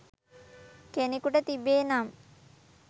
කෙනෙකුට තිබේ නම්,